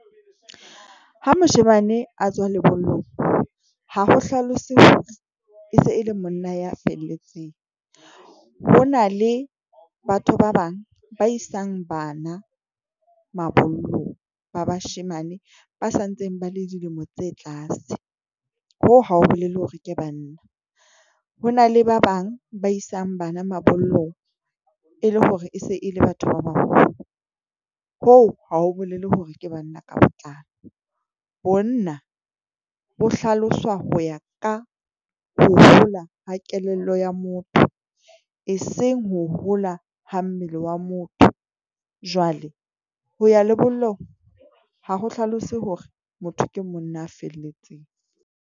Ha moshemane a tsoha le boloi ha ho hlalosetsa se ele monna ya felletseng. Ho na le batho ba bang ba isang bana mabollo ba bashemane ba santseng ba le dilemo tse tlase Ho hao bolele hore ke banna hona le ba bang ba isang bana mabollo e le hore e se e le batho ba baholo, o hao bolele hore ke banna ka botlalo. Bona bo hlaloswa ho ya ka hora ha kelello ya motho e seng ho hora ha mmele wa motho jwale ho ya lebollong ha ho hlalose hore motho ke monna a felletseng